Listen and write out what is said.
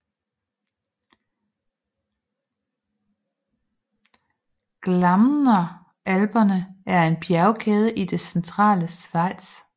Glarner Alperne en en bjergkæde i det centrale Schweiz